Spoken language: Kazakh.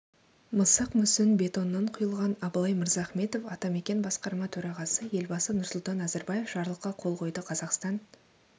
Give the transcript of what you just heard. мысық мүсін бетоннан құйылған абылай мырзахметов атамекен басқарма төрағасы елбасы нұрсұлтан назарбаев жарлыққа қол қойды қазақстан